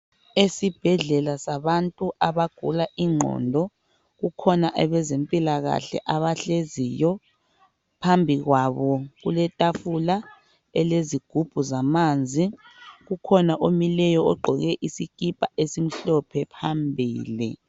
Esibhedlela sabantu abagula ingqondo, kukhona abezempilakahle abahleziyo. Phambi kwabo kuletafula elezigubhu zamanzi. Kukhona omileyo ogqoke isikipa esimhlophe phambili.